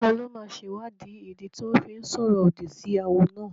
Taló máa sèwáàdí ìdí tí wọ́n fi sọ̀rọ̀ òdì sí awo náà?